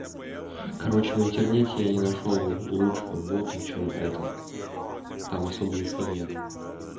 короче в интернете я не нашёл лучшего бота чем это там особо их и нет